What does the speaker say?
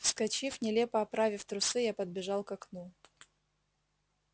вскочив нелепо оправив трусы я подбежал к окну